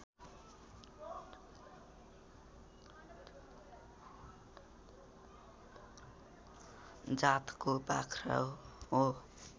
जातको बाख्रा हो